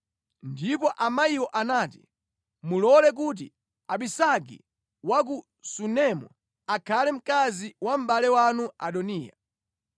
Ndipo amayiwo anati, “Mulole kuti Abisagi wa ku Sunemu akhale mkazi wa mʼbale wanu Adoniya.”